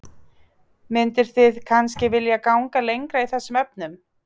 Mynduð þið kannski vilja ganga lengra í þessum efnum?